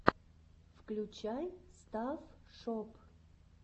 включай стафф шоп